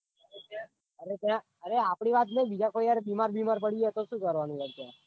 અરે આપવી વાત નાઈ બીજા કોઈ યાર બીમાર બીમાર પડી જાય તો સુ કરવાનું યાર ત્યાં.